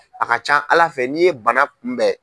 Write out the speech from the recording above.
A ka ca Ala fɛ n'i ye bana kunbɛn.